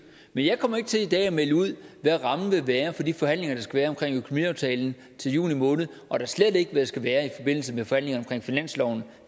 men jeg kommer ikke til i dag at melde ud hvad rammen vil være for de forhandlinger der skal være omkring økonomiaftalen til juni måned og da slet ikke hvad den skal være i forbindelse med forhandlinger omkring finansloven